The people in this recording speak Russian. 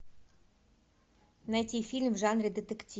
найти фильм в жанре детектив